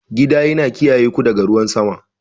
Gida yana kiyaye ku daga ruwan sama.